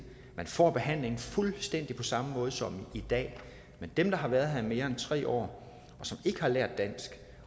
man får behandling fuldstændig på samme måde som i dag men dem der har været her i mere end tre år som ikke har lært dansk